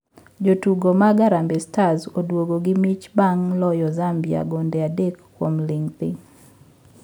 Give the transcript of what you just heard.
Jotugo mag harambee stars oduogo gi mich bang` loyo zambia gonde adek kuom ling thii